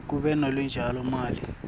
kube nelutjalo mali